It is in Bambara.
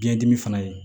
Biyɛn dimi fana ye